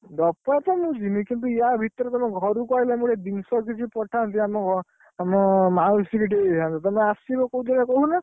ମୁଁ ଯିବିନି କିନ୍ତୁ ଆ ଭିତରେ କୋଉଦିନ ଘରକୁ ଆଇଲେ ଆମ ଜିନିଷ କିଛି ପଠାନ୍ତି ଆମ ଆମ ମାଉସୀ ଟିକେ ଦେଇ ଦେଇଥାନ୍ତ, ତମେ ଆସିବ କୋଉଦିନ କହୁନା?